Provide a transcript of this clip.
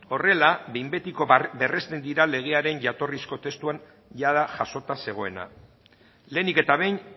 horrela behin betiko berresten dira legearen jatorrizko testuan jada jasota zegoena lehenik eta behin